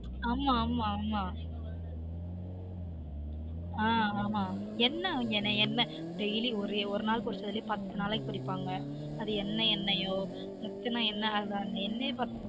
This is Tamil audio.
ஆமா ஆமா மா ஆஹ் ஆமா என்ன வாங்கிய என்ன ஒரு நாளைக்கு பொறிச்சதுலயே பத்து நாளைக்கு பொறிப்பாங்க அது என்ன எண்ணெயொ எத்தன எண்ணெ